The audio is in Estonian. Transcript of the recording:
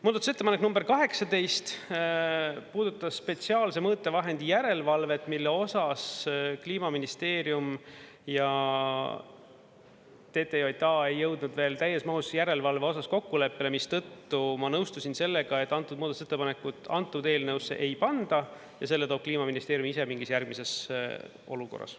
Muudatusettepanek nr 18 puudutas spetsiaalse mõõtevahendi järelevalvet, mille osas Kliimaministeerium ja TTJA ei jõudnud veel täies mahus järelevalve osas kokkuleppele, mistõttu ma nõustusin sellega, et antud muudatusettepanekut antud eelnõusse ei panda ja selle toob Kliimaministeerium ise mingis järgmises olukorras.